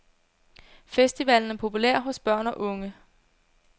Festivalen er populær hos børn og unge.